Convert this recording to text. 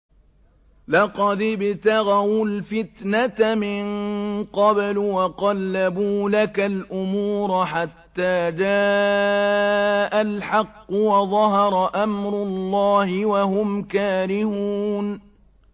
لَقَدِ ابْتَغَوُا الْفِتْنَةَ مِن قَبْلُ وَقَلَّبُوا لَكَ الْأُمُورَ حَتَّىٰ جَاءَ الْحَقُّ وَظَهَرَ أَمْرُ اللَّهِ وَهُمْ كَارِهُونَ